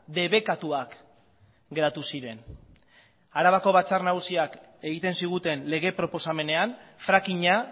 debekatuak geratu ziren arabako batzar nagusiak egiten ziguten lege proposamenean frackinga